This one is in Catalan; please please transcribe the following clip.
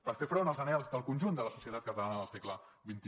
per fer front als anhels del conjunt de la societat catalana del segle xxi